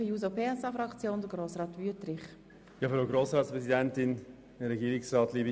1999 hat der Skilift Walterswil ein Pistenfahrzeug erwerben können.